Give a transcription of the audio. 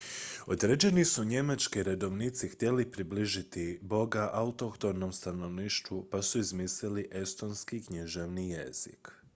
određeni su njemački redovnici htjeli približiti boga autohtonom stanovništvu pa su izmislili estonski književni jezik